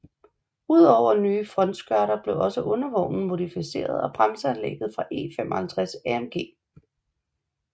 Ud over nye frontskørter blev også undervognen modificeret og bremseanlægget fra E 55 AMG